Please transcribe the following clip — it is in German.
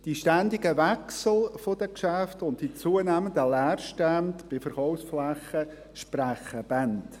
Die ständigen Wechsel der Geschäfte und die zunehmenden Leerstände bei Verkaufsflächen sprechen Bände.